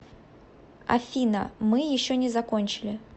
афина мы еще не закончили